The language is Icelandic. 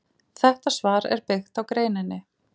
Þetta svar er byggt á greininni.